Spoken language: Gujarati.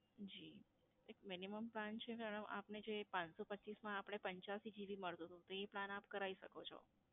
જી એક minimum plan છે madam આપને જે પાંચસો પચ્ચીસ માં આપડે પંચયાસી GB મળતું તું એ plan આપ કરાવી શકો છો.